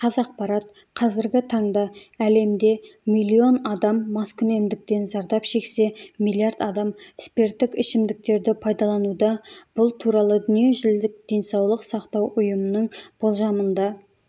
қазақпарат қазіргі таңда әлемде млн адам маскүнемдіктен зардап шексе млрд адам спирттік ішімдіктерді пайдалануда бұл туралы дүниежүзілік денсаулық сақтау ұйымының болжамында